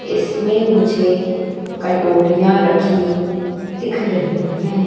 इसमें मुझे कटोरिया रखी दिख रही हैं।